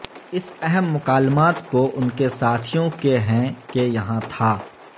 اس اہم مکالمات کو ان کے ساتھیوں کے ہیں ہیں کہ یہاں تھا